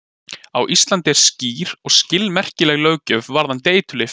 Á Íslandi er skýr og skilmerkileg löggjöf varðandi eiturlyf.